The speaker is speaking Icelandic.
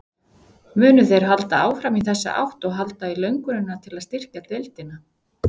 Munu þeir halda áfram í þessa átt og halda í löngunina til að styrkja deildina?